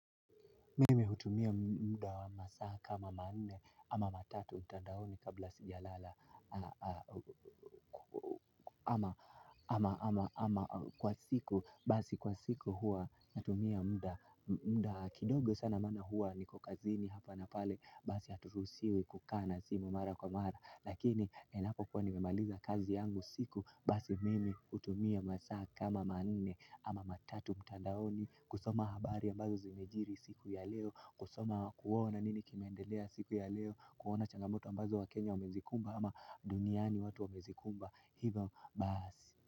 Mimi hutumia muda wa masaa kama manne ama matatu mtandaoni kabla sijalala. Ama kwa siku basi kwa siku huwa natumia muda kidogo sana maana huwa niko kazini hapa na pale basi haturuhusiwi kukaa na simu mara kwa mara. Lakini inapokuwa nimemaliza kazi yangu siku basi mimi hutumia masaa kama manne ama matatu mtandaoni kusoma habari ambazo zimejiri siku ya leo kusoma kuona nini kimeendelea siku ya leo kuona changamoto ambazo wakenya wamezikumba ama duniani watu wamezikumba hivyo basi.